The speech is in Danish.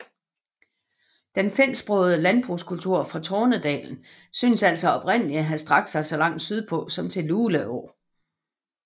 Den finsksprogede landbrugskultur fra Tornedalen synes altså oprindeligt at have strakt sig så langt sydpå som til Luleå